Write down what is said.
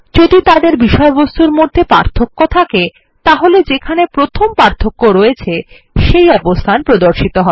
যদি তাদের বিষয়বস্তুর মধ্যে পার্থক্য থাকে তাহলে যেখানে প্রথম পার্থক্য আছে সেই অবস্থান প্রদর্শিত হবে